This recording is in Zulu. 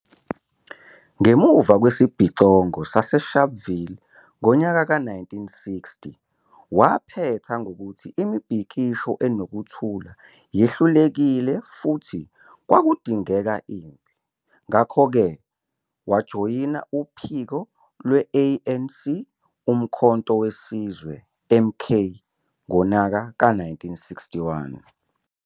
Ngemuva kwesibhicongo saseSharpeville ngo-1960, waphetha ngokuthi imibhikisho enokuthula yehlulekile futhi kwakudingeka impi, ngakho-ke wajoyina uphiko lwe- ANC, uMkhonto weSizwe, MK, ngo-1961.